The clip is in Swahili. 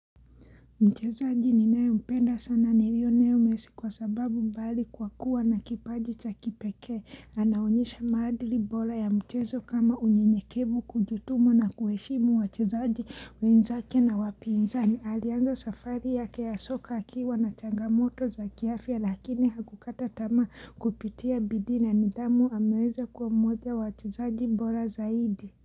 Mchezaji ninaye mpenda sana lionel messi kwa sababu mbali kwa kuwa na kipaji cha kipekee. Anaonyesha maadili bora ya mchezo kama unyenyekevu kujituma na kuheshimu wachezaji wenzake na wapinzani. Alianza safari yake ya soka akiwa na changamoto za kiafya lakini hakukataa tamaa kupitia bidii na ni dhamu ameweza kwa mmoja wachezaji bora zaidi.